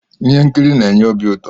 ihe nkiri na-enye obi uto